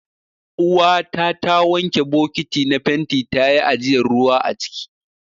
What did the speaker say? Uwata ta wanke bokiti na fenti ta yi ajiyan ruwa aciki.